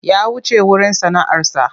Ya wuce wurin sana'arsa.